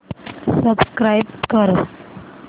subscribe कर